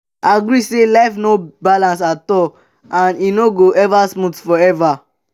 agree say life no balance at all and e no go ever smooth forever um